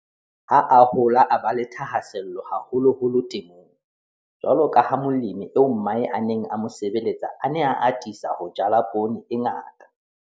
Ha a hola a ba le thahasello haholoholo temong, jwalo ka ha molemi eo mmae a neng a mo sebeletsa a ne a atisa ho jala poone e ngata.